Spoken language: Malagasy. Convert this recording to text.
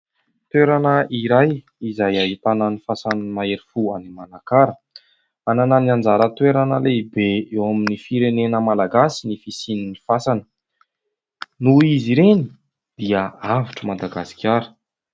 Toerana iray izay ahitana ny fasan'ny mahery fo any Manakara. Manana anjara toerana lehibe eo amin'ny firenena malagasy ny fisiany fasana ; noho izy ireny dia avotra Madagasikara.